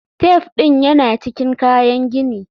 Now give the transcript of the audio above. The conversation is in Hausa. Taf ɗin yana cikin kayan gini.